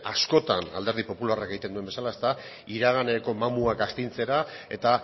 askotan alderdi popularrak egiten duen bezala iraganeko mamuak astintzera eta